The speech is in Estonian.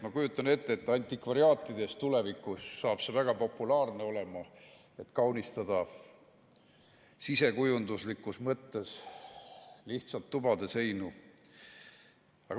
Ma kujutan ette, et antikvariaatides tulevikus saab see väga populaarne olema, et lihtsalt sisekujunduslikus mõttes tubade seinu kaunistada.